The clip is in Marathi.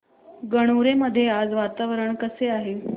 गणोरे मध्ये आज वातावरण कसे आहे